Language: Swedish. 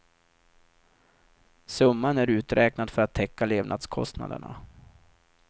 Summan är uträknad för att täcka levnadskostnaderna.